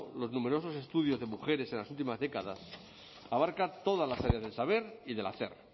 los numerosos estudios de mujeres en las últimas décadas abarca todas las áreas del saber y del hacer